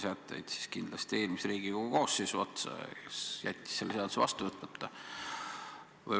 Vastan, et kindlasti eelmise Riigikogu koosseisu otsa, kes jättis selle seaduse vastu võtmata.